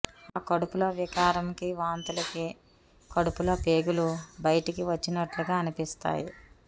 ఆ కడుపులో వికారం కి వాంతులకి కడుపులో పేగులు బయటకి వచ్చినట్లుగా అనిపిస్తాయి